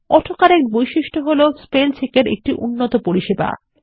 auto correct বৈশিষ্ট্য হলSpellcheck এরএকটি উন্নত পরিসেবা